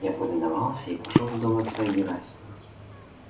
я повиновался и пошёл в дом отца герасима